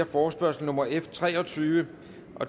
forespørgsel nummer f tre og tyve